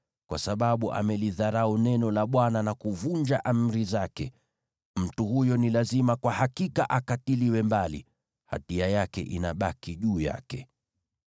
Kwa sababu amelidharau neno la Bwana na kuvunja amri zake, mtu huyo ni lazima akatiliwe mbali; hatia yake inabaki juu yake.’ ”